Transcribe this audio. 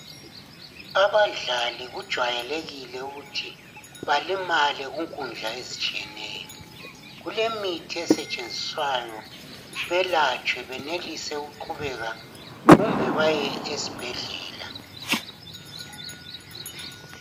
Abadlali kujwayelekile uyuthi balimale kunkundla ezitshiyeneyo. Kulemithi esetshenzwiswayo belatshwe benelise ukuqhubeka, kumbe baye esibhedlela.